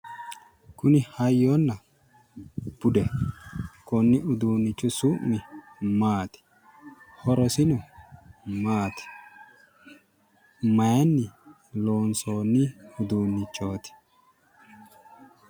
Kuni hayyonna budeho. Konni uduunnichu su'mi maati? Horosino maati? Mayinni loonsoonni uduunnichooti?